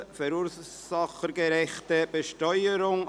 «Verursachergerechte Besteuerung: